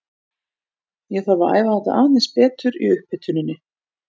Ég þarf að æfa þetta aðeins betur í upphituninni.